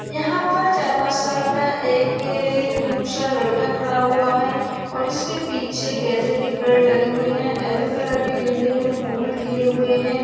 यहा पर चार पाच साल का एक अ क्यूट सा लड़का खड़ा हुआ है और इसके पीछे गेंदे के पेड़ लगे हुए है येल्लो कलर के गेंदे में फूल खिले हुए है।